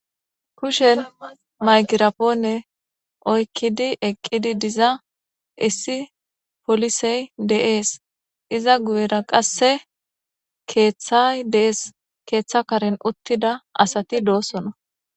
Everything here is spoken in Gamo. Kushen maykirapoonne oykkidi eqqidi diza issi polisey de'ees iza guyera qasse keeththay dees keeththa karen uttida asati doosona